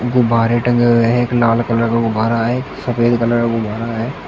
गुब्बारे टंगे हुए हैं एक लाल कलर का गुब्बारा है एक सफेद कलर का गुब्बारा है।